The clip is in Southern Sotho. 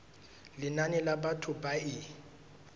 lenane la batho ba e